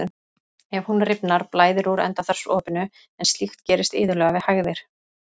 Ef hún rifnar blæðir úr endaþarmsopinu en slíkt gerist iðulega við hægðir.